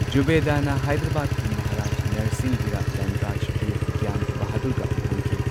ꯖꯨꯕꯦꯗꯥꯅ ꯍꯥꯏꯗ꯭ꯔꯕꯥꯗꯀꯤ ꯃꯍꯥꯔꯥꯖ ꯅꯔꯁꯤꯡꯒꯤꯔ ꯙꯟꯔꯥꯖꯒꯤꯔ ꯒ꯭ꯌꯥꯟ ꯕꯍꯥꯗꯨꯔꯒ ꯂꯨꯍꯣꯡꯈꯤ꯫